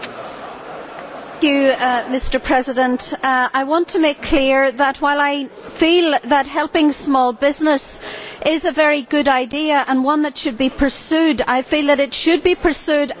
Mr President, I want to make it clear that while I feel that helping small business is a very good idea and one that should be pursued, it should be pursued at national government level.